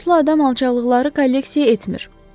Namuslu adam alçaqlıqları kolleksiya etmir.